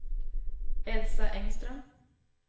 Elsa Engström